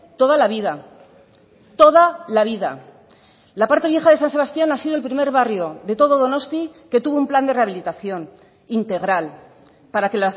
toda la vida toda la vida la parte vieja de san sebastián ha sido el primer barrio de todo donosti que tuvo un plan de rehabilitación integral para que